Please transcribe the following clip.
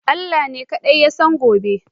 Allah kaɗai Shi Ya san gobe.